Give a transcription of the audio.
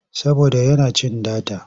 Saboda yana cin data.